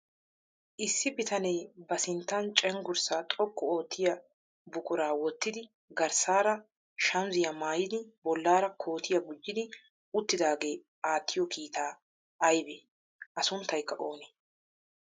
Issi bitanee ba sinttan cenggurssaa xoqqu oottiya buquraa wottidi garssaara shamiziya mayyidi bollaara kootiya gujjidi uttidaagee attiyo kiitaa ayibee? A sunttayikka oonee?